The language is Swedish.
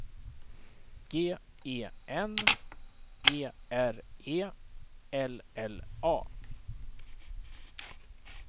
G E N E R E L L A